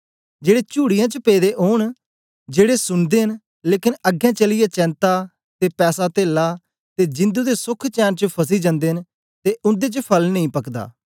जेड़े चुड़ीयें च पेदे ओन जेड़े सुनदे न लेकन अगें चलीयै चेंता ते पैसातेला ते जिंदु दे सोख चैन च फसी जनदे न ते उन्दे च फल नेई पकदा